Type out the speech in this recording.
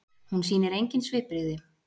Hún sýnir engin svipbrigði.